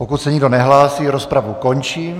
Pokud se nikdo nehlásí, rozpravu končím.